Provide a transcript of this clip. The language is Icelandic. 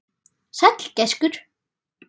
Sæll gæskur.